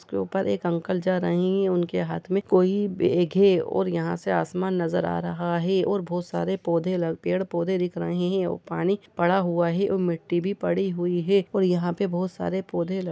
इसके ऊपर एक अंकल जा रहे है उनके हाथ में कोई बैग है और यहाँ से आसमान नजर आ रहा है और बहुत सारे पौधे ल पेड़ पौधे दिख रहे हैं और पानी पड़ा हुआ है और मिट्टी भी पड़ी हुई है और यहाँ पे बहुत सारे पौधे लग --